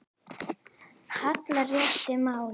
hallar réttu máli.